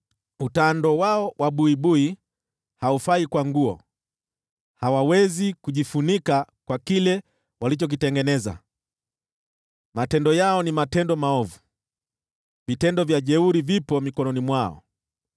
Utando wao wa buibui haufai kwa nguo; hawawezi kujifunika kwa kile walichokitengeneza. Matendo yao ni matendo maovu, vitendo vya jeuri vipo mikononi mwao.